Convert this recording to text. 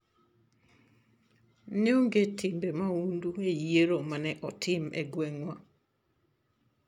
Ne onge timbe mahundu e yiero ma ne otim e gweng'wa.